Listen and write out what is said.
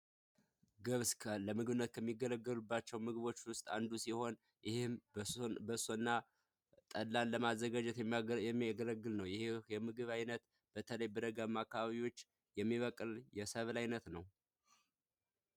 ገብስ ምግብ ለማዘጋጀት ከሚገለገሉባቸው ስብሎች አንዱ ሲሆን ይህም በሶ እና ጠላ የሚያገለግለው ይሄ ምግብ ዓይነት በተለይ አካባቢዎች